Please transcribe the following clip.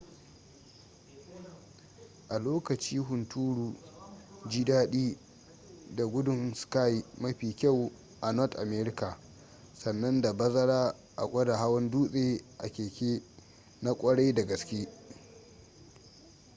a lokaci hunturu ji dadi da gudun ski mafi kyau a north america sannan da bazara a gwada hawan dutse a keke na kwarai da gaske